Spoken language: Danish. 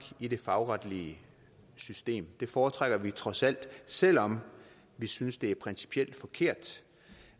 i det fagretlige system det foretrækker vi trods alt selv om vi synes at det principielt er forkert